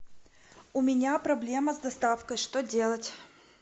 у меня проблема с доставкой что делать